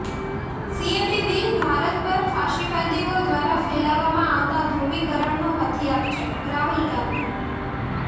સીએબી bill Bharat પર ફાસીવાદીઓ દ્વારા ફેલાવવામાં આવતા ધ્રુવિકરણનું હથિયાર છેઃ રાહુલ ગાંધી